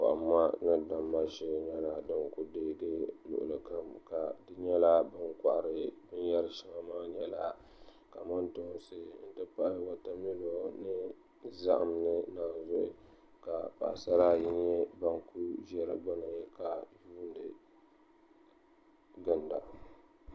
Kohamma ni damma shee nyɛla din ku deegi luɣuli kam ka di nyɛla bin kohari binyɛri shɛŋa maa nyɛla kamantoosi n ti pahi wotamilo ni zaham ni naanzuhi ka paɣasara ayi ŋo ban kuli ʒɛ di gbuni ka yuundi ginda